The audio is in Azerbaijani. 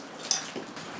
Təşəkkür.